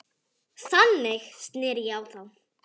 Þannig sneri ég á þá.